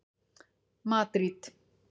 Madríd